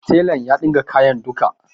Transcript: Tela ya ɗinka kayan duka.